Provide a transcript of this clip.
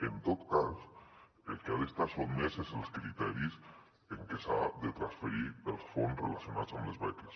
en tot cas al que ha d’estar sotmès és als criteris amb que s’han de transferir els fons relacionats amb les beques